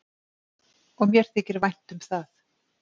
Og mér þykir vænt um það.